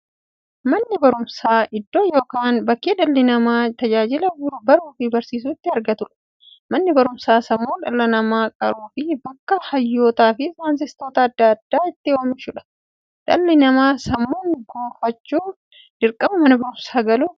Manni baruumsaa iddoo yookiin bakkee dhalli namaa tajaajila baruufi barsiisuu itti argatuudha. Manni baruumsaa sammuu dhala namaa qaruufi bakka hayyootafi saayintistoota adda addaa itti oomishuudha. Dhalli namaa sammuun gufachuuf, dirqama Mana baruumsaa galuu qaba.